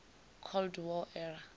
cold war era